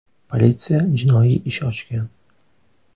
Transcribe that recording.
Politsiya jinoiy ish ochgan.